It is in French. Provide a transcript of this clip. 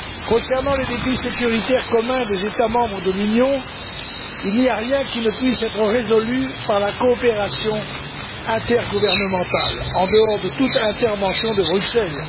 Concernant les défis sécuritaires communs des États membres de l'Union, il n'y a rien qui ne puisse être résolu par la coopération intergouvernementale, en dehors de toute intervention de Bruxelles.